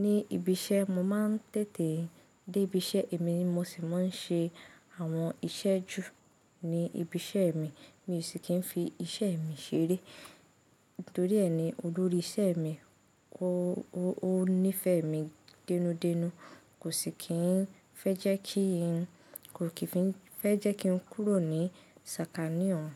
Ni ibi iṣẹ́, mo máa ń tètè dé ibi iṣẹ́ èmi, mo sì máa ń ṣe àwọn iṣẹ́ jù ní ibi iṣẹ́ mi, mí sì kí ń fi iṣẹ́ mi ṣeré. Nítorí e ni, olórí ìṣẹ́ mi, ó, ó nífẹ̀ẹ́ mi dẹ́nú dẹ́nú, kò sì kí ń fẹ́ jẹ́ kí n, kò kí n fẹ́ jẹ́ kí n kúrò ní sàkání ọ̀un.